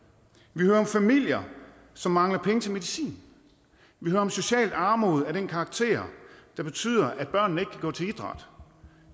vi hører om familier som mangler penge til medicin vi hører om social armod af den karakter der betyder at børnene gå til idræt